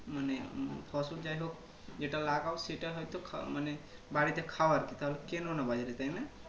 মানে ফসল যাই হোক যেটা লাগাও সেটা হয়তো খা মানে বাড়িতে খাও আরকি তাহলে কেননা বাজারে তাই না